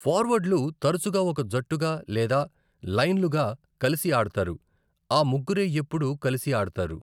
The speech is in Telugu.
ఫార్వర్డ్లు తరచుగా ఒక జట్టుగా లేదా లైన్లుగా కలిసి ఆడతారు, ఆ ముగ్గురే ఎప్పుడూ కలిసి ఆడతారు.